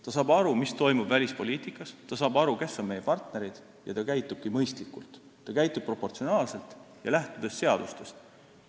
Ta saab aru, mis toimub välispoliitikas, ta saab aru, kes on meie partnerid, ja ta käitubki mõistlikult – proportsionaalselt ja lähtudes seadustest.